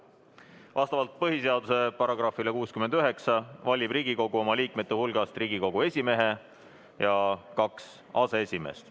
Vastavalt põhiseaduse §-le 69 valib Riigikogu oma liikmete hulgast Riigikogu esimehe ja kaks aseesimeest.